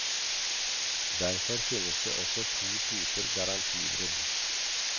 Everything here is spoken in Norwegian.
Derfor finnes det også to typer garantibrudd.